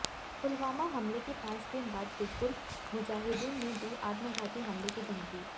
पुलवामा हमले के पांच दिन बाद हिजबुल मुजाहिदीन ने दी आत्मघाती हमले की धमकी